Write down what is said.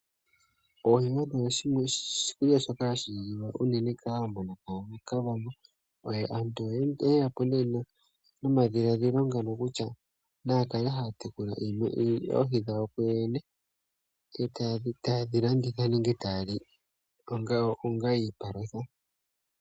Oohi odho oshikulya shoka hashi liwa unene kAawambo nokAakavango, aantu oye yapo nee nomadhiladhilo ngano kutya naya kale haya tekula oohi dhawo kuyoyene e taye dhi landitha nenge taya li onga iipalutha.